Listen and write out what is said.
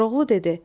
Koroğlu dedi.